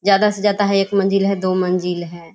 ज्यादा से ज्यादा है एक मंजिल है दो मंजिल है।